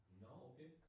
Nåh okay